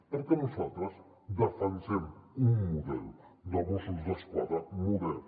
perquè nosaltres defensem un model de mossos d’esquadra modern